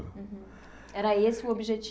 Era esse o